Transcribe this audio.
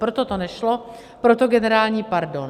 Proto to nešlo, proto generální pardon.